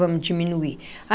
Vamos diminuir.